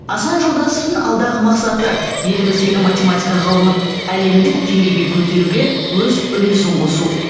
асан жолдасовтың алдағы мақсаты еліміздегі математика ғылымын әлемдік деңгейге көтеруге өз үлесін қосу